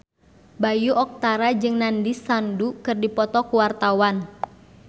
Bayu Octara jeung Nandish Sandhu keur dipoto ku wartawan